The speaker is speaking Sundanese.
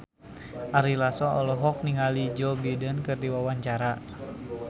Ari Lasso olohok ningali Joe Biden keur diwawancara